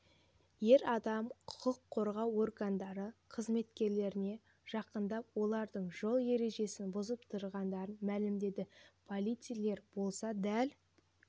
ер адам құқық қорғау органдары қызметкерлеріне жақындап олардың жол ережесін бұзып тұрғандарын мәлімдеді полицейлер болса дәл